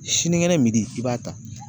Siniŋɛnɛ i b'a ta